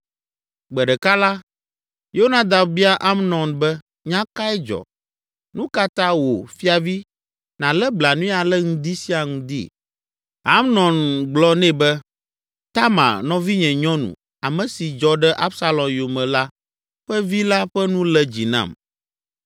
Gbe ɖeka la, Yonadab bia Amnon be, “Nya kae dzɔ? Nu ka ta wò, fiavi, nàlé blanui ale ŋdi sia ŋdi?” Amnon gblɔ nɛ be, “Tamar, nɔvinye nyɔnu, ame si dzɔ ɖe Absalom yome la ƒe vi la ƒe nu lé dzi nam.”